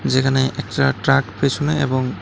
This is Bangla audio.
যেখানে একটা ট্রাক পেছনে এবং--